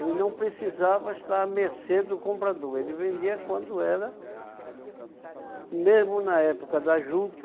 Ele não precisava estar à mercê do comprador, ele vendia quando era, mesmo na época da juta,